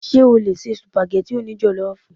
Ṣé o lè se Sùpàgẹ́tì o ní jọ̀lọ́fù?